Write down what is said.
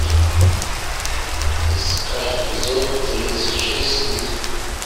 искать эпизод тридцать шесть стыд